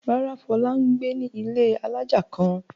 Rárá, Fọlá ń gbé ní ilé alájà kan.